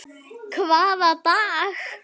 Hvaða dag?